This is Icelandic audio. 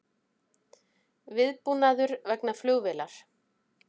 Viðbúnaður vegna flugvélar